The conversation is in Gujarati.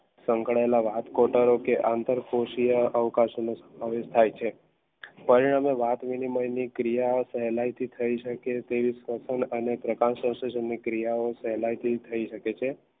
સંકળાયેલા રાજકોટવાસીઓ અંતરકોશિયા અવકાશનક પરિણામે ક્રિયા સહેલાઈથી તેવી ક્રિયાઓ સહેલાઇથી થઇ શકે છે